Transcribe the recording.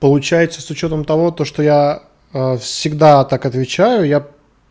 получается с учётом того то что я всегда так отвечаю я